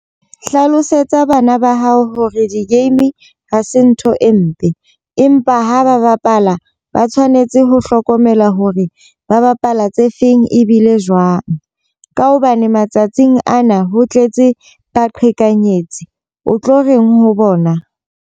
Hlalosetsa bana ba hao hore di-game ha se ntho e mpe. Empa ha ba bapala ba tshwanetse ho hlokomela hore ba bapala tse feng ebile jwang. Ka hobane matsatsing a na ho tletse baqhekanyetsi. O tlo reng ho bona?